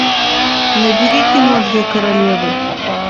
набери кино две королевы